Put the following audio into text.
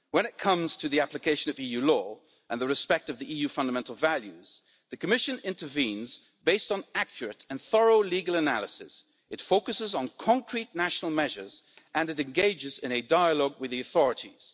When it comes to the application of EU law and the respect of the EU's fundamental values, the Commission intervenes based on accurate and thorough legal analysis, it focuses on concrete national measures and it engages in a dialogue with the authorities.